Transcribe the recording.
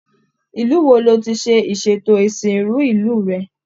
ilu wo lo tí ṣe ìsètò isinru ìlú rẹ?